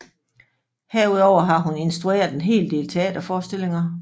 Herudover har hun instrueret en hel del teaterforestillinger